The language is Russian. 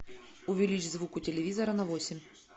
увеличь звук у телевизора на восемь